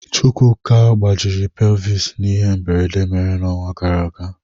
Chukwuka gbajiri pelvis n'ihe mberede mere n'ọnwa gara aga.